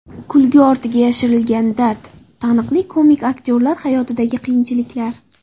Kulgi ortiga yashirilgan dard: Taniqli komik aktyorlar hayotidagi qiyinchiliklar.